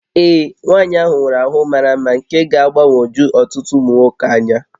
Ee, nwaanyị ahụ nwere ahụ mara mma nke ga-agbagwoju ọtụtụ ụmụ nwoke anya